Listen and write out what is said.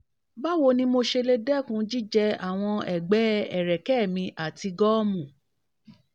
báwo ni mo ṣe lè dẹ́kun jíjẹ àwọn ẹ̀gbẹ́ ẹ̀rẹ̀kẹ́ mi àti gọ́ọ̀mù?